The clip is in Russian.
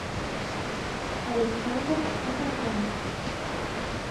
александр асатрян